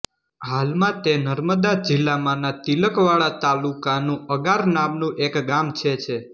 હાલમાં તે નર્મદા જિલ્લામાંના તિલકવાડા તાલુકાનું અગાર નામનું એક ગામ છે છે